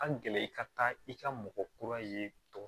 An gɛlɛn i ka taa i ka mɔgɔ kura ye